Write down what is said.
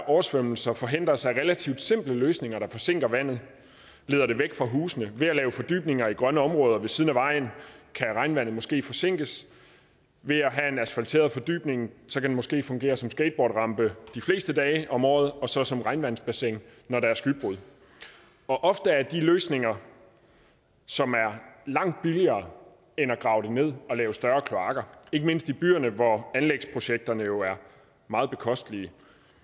oversvømmelser forhindres af relativt simple løsninger der forsinker vandet og leder det væk fra husene ved at lave fordybninger i grønne områder ved siden af vejen kan regnvandet måske forsinkes en asfalteret fordybning kan måske fungere som en skateboardrampe de fleste dage om året og så som regnvandsbassin når der er skybrud ofte er det løsninger som er langt billigere end at grave det ned og lave større kloakker ikke mindst i byerne hvor anlægsprojekterne jo er meget bekostelige da